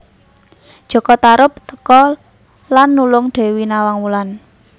Jaka Tarub teka lan nulung Dewi Nawang Wulan